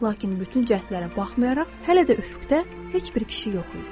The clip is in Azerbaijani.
Lakin bütün cəhdlərə baxmayaraq, hələ də üfüqdə heç bir kişi yox idi.